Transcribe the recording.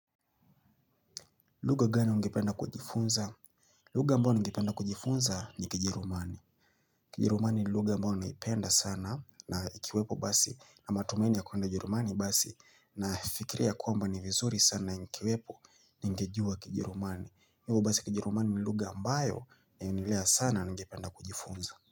Lugha gani ungependa kujifunza? Lugga ambayo ningependa kujifunza ni kijerumani. Kijerumani ni lugha ambayo naipenda sana na ikiwepo basi na matumaini ya kuenda jerumani basi nafikiria kwamba ni vizuri sana nikiwepo ningejua kijerumani. Hivyo basi kijerumani ni lugha ambayo ya unilea sana nigependa kujifunza.